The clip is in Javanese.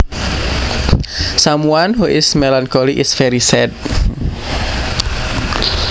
Someone who is melancholy is very sad